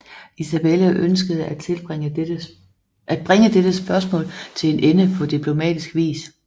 Isabella ønskede at bringe dette spørgsmål til en ende på diplomatisk vis